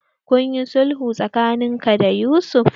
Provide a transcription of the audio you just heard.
Kunyi sulhu tsakanin ka da Yusuf?